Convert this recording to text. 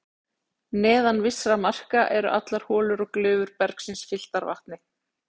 Neðan vissra marka eru allar holur og glufur bergsins fylltar vatni.